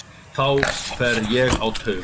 Þá fer ég á taugum.